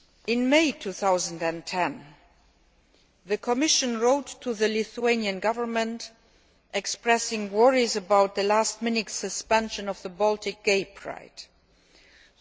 In May 2010, the Commission wrote to the Lithuanian Government expressing worries about the last minute suspension of the Baltic Gay Pride event.